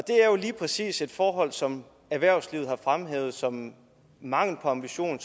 er jo lige præcis et forhold som erhvervslivet har fremhævet som mangel på ambition